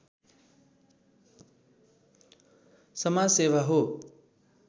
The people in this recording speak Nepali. समाजसेवा हो